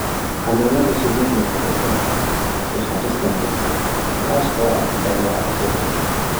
Xannaanada shinnidu waxay ka qayb qaadataa soo saarista malabka, kaas oo ah badeecad qiimo leh.